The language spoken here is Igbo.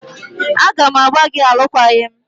A ga m agbà gị alụkwaghịm!